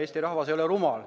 Eesti rahvas ei ole rumal.